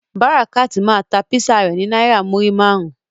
Barakat ma ta Písà rẹ ni naira muri márùn.